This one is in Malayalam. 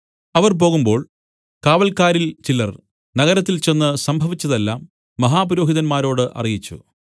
അവർ പോകുമ്പോൾ കാവൽക്കാരിൽ ചിലർ നഗരത്തിൽ ചെന്ന് സംഭവിച്ചത് എല്ലാം മഹാപുരോഹിതന്മാരോട് അറിയിച്ചു